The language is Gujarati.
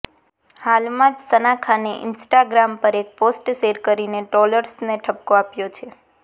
હાલમાં જ સના ખાને ઈંસ્ટાગ્રામ પર એક પોસ્ટ શેર કરીને ટ્રોલર્સને ઠપકો આપ્યો છે